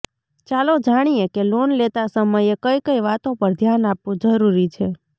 ચાલો જાણીએ કે લોન લેતા સમયે કઈ કઈ વાતો પર ધ્યાન આપવું જરૂરી છે